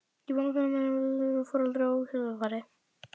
Ég er búinn að finna hérna formanninn fyrir Foreldra- og kennarafélagið!